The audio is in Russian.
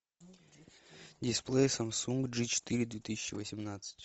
дисплей самсунг джи четыре две тысячи восемнадцать